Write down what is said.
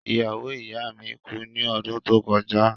Iyawo iya mi ku ni ọdun to kọja.